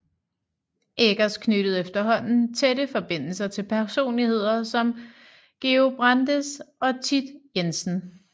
Eggers knyttede efterhånden tætte forbindelser til personligheder som Georg Brandes og Thit Jensen